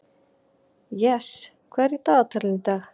Jes, hvað er í dagatalinu í dag?